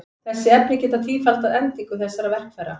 Þessi efni geta tífaldað endingu þessara verkfæra.